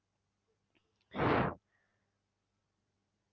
শ